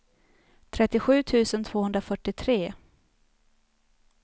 trettiosju tusen tvåhundrafyrtiotre